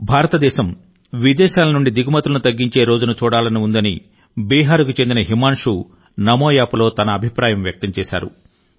భారతదేశం విదేశాల నుండి దిగుమతులను తగ్గించే రోజును చూడాలని ఉందని బీహార్ కు చెందిన హిమాన్షు నమోయాప్లో తన అభిప్రాయం వ్యక్తం చేశారు